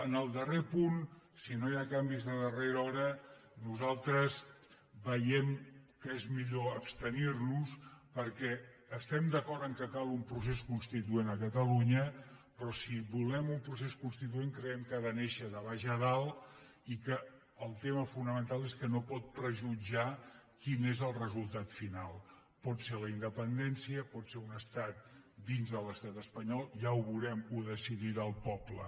en el darrer punt si no hi ha canvis de darrera hora nosaltres veiem que és millor abstenir·nos perquè es·tem d’acord que cal un procés constituent a catalunya però si volem un procés constituent creiem que ha de néixer de baix a dalt i que el tema fonamental és que no pot prejutjar quin és el resultat final pot ser la in·dependència pot ser un estat dins de l’estat espanyol ja ho veurem ho decidirà el poble